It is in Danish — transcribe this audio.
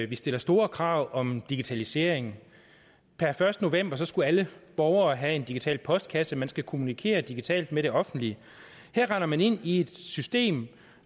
vi stiller store krav om digitalisering per første november skulle alle borgere have en digital postkasse man skal kommunikere digitalt med det offentlige her render man ind i et system